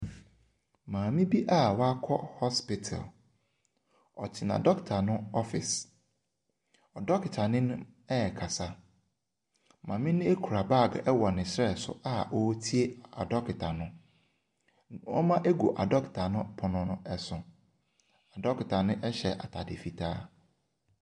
Maame bi wakɔ hospital, ɔtena dɔketa no ɔfese, na dɔketani no ɛrekasa. Maame kura baage wɔ ne serɛ so a ɔretie adɔketa no. nneɛma gu adoketa no pono so. Dɔketa no hyɛ ataade fitaa.